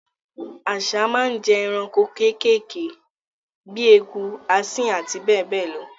Àsá máa n jẹ eranko kékèké bi eku, asín àti bẹ́ẹ̀ bẹ́ẹ̀ lo